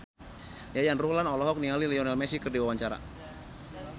Yayan Ruhlan olohok ningali Lionel Messi keur diwawancara